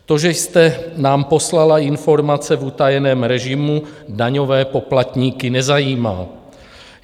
To, že jste nám poslala informace v utajeném režimu, daňové poplatníky nezajímá.